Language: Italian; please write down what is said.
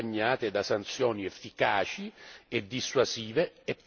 e dissuasive per le eventuali violazioni.